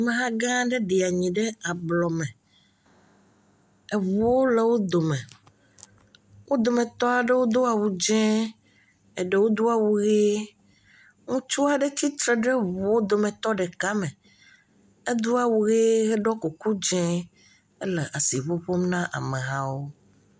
Ameha gã aɖe ɖi anyi ɖe ablɔme, eŋuwo le wo dome. Wo dometɔ aɖewo do awu dzee, eɖewo do awu ʋe, ŋutsu aɖe tsitre ɖe eŋuɔwo dometɔ ɖeka me, edo awu ʋe, eɖɔ kuku dze, ele asi ŋuŋum na amehawo.